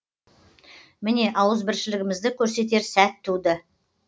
міне ауызбіршілігімді көрсетер сәт туды